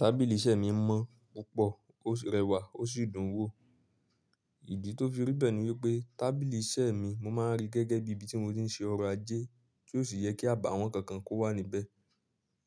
Tábìlì iṣẹ́ mi mọ́ púpọ̀, ó rẹwà, ó sì dùn wò. Ìdí tó fi rí bẹ́ẹ̀ ni wípé tábìlì iṣẹ́ mi mo máa ń rí gẹ́gẹ́ bí ibi tí mo ti ń ṣe ọ̀rọ̀ ajé, tí ó sì yẹ kí àbàwọ́n kankan kó wà níbẹ̀.